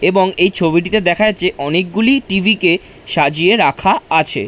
এবং এই ছবিটিতে দেখা যাচ্ছে অনেকগুলি টিভি কে সাজিয়ে রাখা আছে।